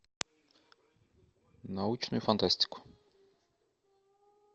научную фантастику